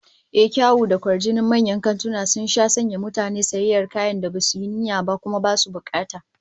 Ehh, kyawun da kwajinin manyan kantuna sun sha sanya mutane su yi sayayyar kayan da basu yi niyyar ba, kuma basu bukata